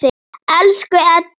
Elsku Eddi.